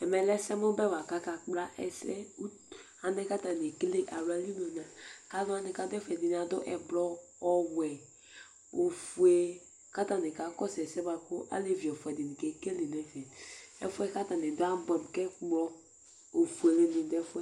ɛmɛ lɛ ɛsɛ mo bɛ boa kò aka kpla ɛsɛ alɛ kò atani ekele ala li mo k'alo wani k'ado ɛfɛ bi moa adu ublɔ ɔwɛ ofue k'atani ka kɔsu ɛsɛ boa kò alevi ɛfua di ni ke kele n'ɛfɛ ɛfu yɛ k'atani do yɛ aboɛ amo k'ɛkplɔ ofuele ni do ɛfu yɛ